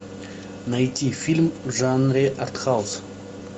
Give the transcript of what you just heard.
найти фильм в жанре артхаус